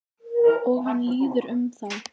Og hann líður um þá.